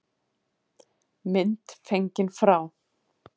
Mynd fengin frá